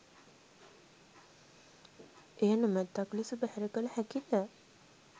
එය නොමැත්තක් ලෙස බැහැර කළ හැකි ද?